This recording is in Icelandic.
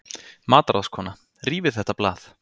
MATRÁÐSKONA: Rífið þetta blað!